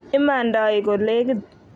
imandai ko lekit